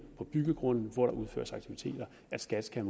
på byggegrunden hvor der udføres aktiviteter at skat skal